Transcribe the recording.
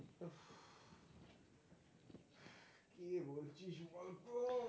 কি বলছিস বলতো?